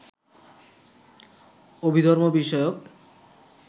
অভিধর্ম বিষয়ক